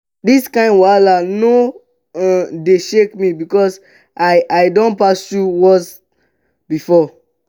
dis kain wahala no um dey shake me because i i don pass through worse before.